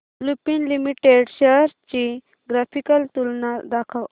Lupin limited shares ची graphical तुलना दाखव